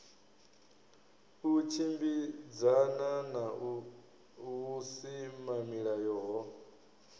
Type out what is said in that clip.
u tshimbidzana na vhusimamilayo ho